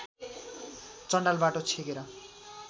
चाण्डाल बाटो छेकेर